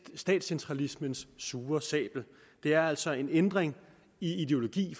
statscentralismens sure sabel det er altså en ændring i ideologi